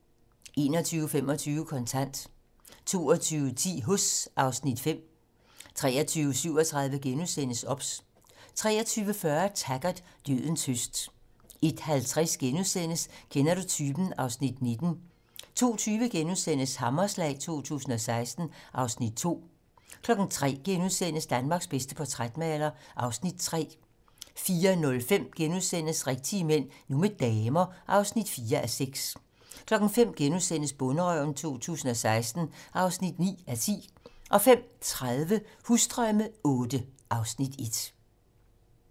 21:25: Kontant 22:10: Huss (Afs. 5) 23:37: OBS * 23:40: Taggart: Dødens høst 01:50: Kender du typen? (Afs. 19)* 02:20: Hammerslag 2016 (Afs. 2)* 03:00: Danmarks bedste portrætmaler (Afs. 3)* 04:05: Rigtige mænd - nu med damer (4:6)* 05:00: Bonderøven 2016 (9:10)* 05:30: Husdrømme VIII (Afs. 1)